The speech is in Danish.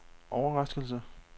overraskelse